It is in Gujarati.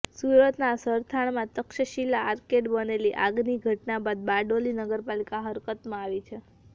સુરતના સરથાણામાં તક્ષશિલા આર્કેડમાં બનેલી આગની ઘટના બાદ બારડોલી નગરપાલિકા હરકતમાં આવી છે